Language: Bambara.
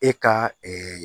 E ka